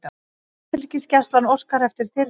Landhelgisgæslan óskar eftir þyrlu